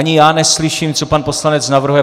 Ani já neslyším, co pan poslanec navrhuje.